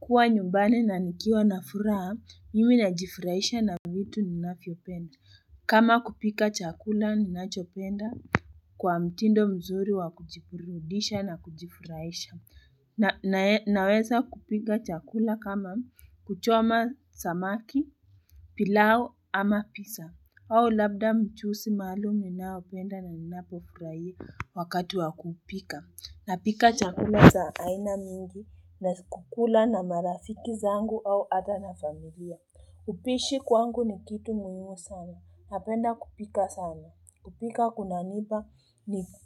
Kuwa nyumbani na nikiwa na furaha nimi najifurahisha na vitu ninafiopenda kama kupika chakula ninachopenda kwa mtindo mzuri wa kujiburudisha na kujifurahisha na naweza kupika chakula kama kuchoma samaki, pilau ama pisa au labda mchusi maalum ninayopenda na ninapofuraia wakati wa kupika. Napika chakula za aina mingi na kukula na marafiki zangu au ata na familia. Upishi kwangu ni kitu muimu sana. Napenda kupika sana. Kupika kunaniba